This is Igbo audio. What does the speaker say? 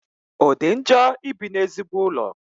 O di njọ ibi n'ezigbo ụlọ?